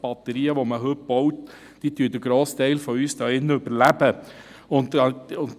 Batterien, wie sie heute gebaut werden, überleben den grossen Teil von uns hier drin.